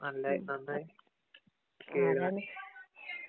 നല്ല നന്നായി